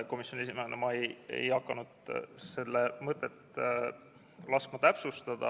Komisjoni esimehena ei hakanud ma laskma selle mõtet täpsustada.